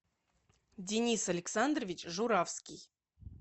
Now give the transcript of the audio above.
денис александрович журавский